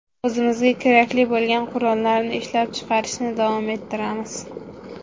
O‘zimizga kerakli bo‘lgan qurollarni ishlab chiqarishni davom ettiramiz.